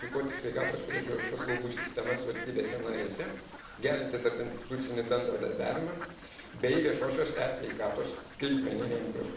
Tam būtina suderinti, unifikuoti sveikatos priežiūros paslaugų sistemas valstybėse narėse, gerinti tarpinstitucinį bendradarbiavimą bei viešosiose e.